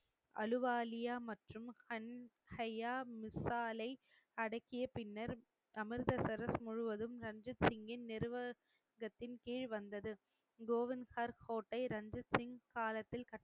அலுவாலியா மற்றும் ஹன் ஹையா மிஸ்சாலை அடக்கிய பின்னர் அமிர்தசரஸ் முழுவதும் ரஞ்சித் சிங்கின் நிர்வாகத்தின் கீழ் வந்தது கோவிந்த்ஹர் கோட்டை ரஞ்சித் சிங் காலத்தில்